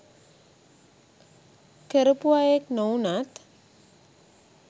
කරපු අයෙක් නොවුනත්